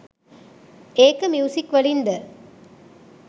ඒක ‍මියුසික්වලින් ද